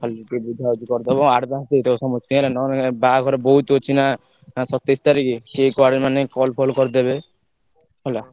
ତମେ ଖାଲି ଟିକେ ବୁଝାବୁଝି କରିଦବ ହେଲା advance ଦେଇଦବ ସମସ୍ତଙ୍କୁ ହେଲା ନହେଲେ ବାହାଘର ବୋହୁତ ଅଛି ନାଁ ସତେଇଶ ତାରିଖ କିଏ କୁଆଡେ ମାନେ call ଫଲ କରିଦେବେ ହେଲା।